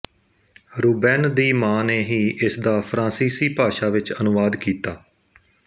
Ruben ਦੀ ਮਾਂ ਨੇ ਹੀ ਇਸਦਾ ਫਰਾਂਸੀਸੀ ਭਾਸ਼ਾ ਵਿੱਚ ਅਨੁਵਾਦ ਕੀਤਾ